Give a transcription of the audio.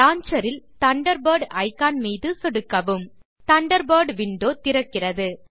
launcher இல் Thunderbird icon மீது சொடுக்கவும் தண்டர்பர்ட் விண்டோ திறக்கிறது